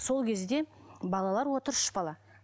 сол кезде балалар отыр үш бала